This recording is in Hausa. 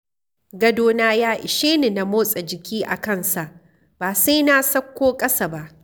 Gadona ya ishe ni na motsa jiki a kansa ba sai na sauko ƙasa ba.